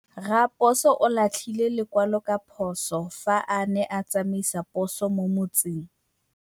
Raposo o latlhie lekwalô ka phosô fa a ne a tsamaisa poso mo motseng.